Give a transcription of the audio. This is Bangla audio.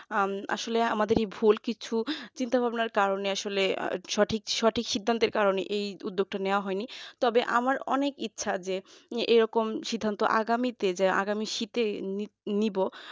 আহ আসলে আমাদেরই ভুল কিছু চিন্তা ভাবনার কারণে আসলে সঠিক সিদ্ধান্তের কারণে এই উদ্যোগটা নেওয়া হয়নি তবে আমার অনেক ইচ্ছা যে এরকম সিদ্ধান্ত আগামীতে আগামী শীতের নিব